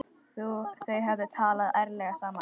Þau hefðu talað ærlega saman.